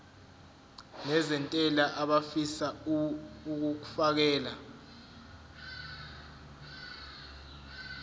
nezentela abafisa uukfakela